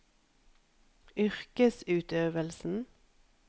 yrkesutøvelsen